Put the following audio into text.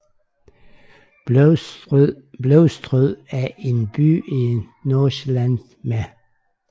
Blovstrød er en by i Nordsjælland med